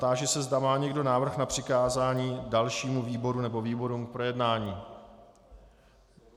Táži se, zda má někdo návrh na přikázání dalšímu výboru nebo výborům k projednání.